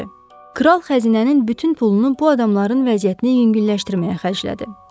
Kral xəzinənin bütün pulunu bu adamların vəziyyətini yüngülləşdirməyə xərclədi.